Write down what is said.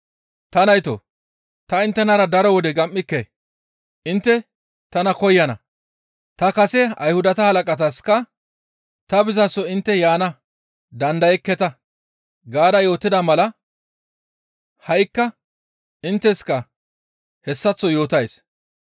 Ta naytoo! Ta inttenara daro wode gam7ike; intte tana koyana; ta kase Ayhudata halaqataska, ‹Ta bizaso intte yaana dandayekketa› gaada yootida mala ha7ikka intteska hessaththo yootays.